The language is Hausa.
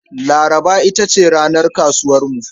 Laraba ita ce ranar kasuwarmu.